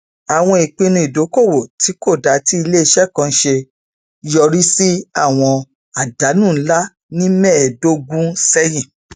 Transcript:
àwọn ìpinnu ìdókòòwò tí kò dáa tí ilé iṣẹ kan ṣe yọrí sí àwọn àdánù ńlá ní mẹẹdọgún sẹyìn